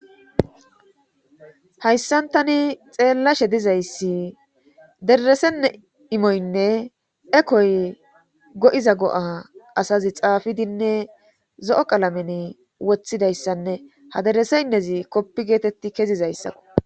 hayssan tani xeellashe dizayssi deresenne imoynne ekoy go7iza go7a asazi xaafidinne zo7o qalamen wothidayssanne ha dereseynezi koppi geetetti kezizayssakko